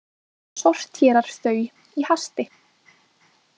Sortérar þau í hasti.